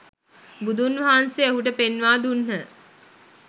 බුදුන් වහන්සේ ඔහුට පෙන්වා දුන්හ.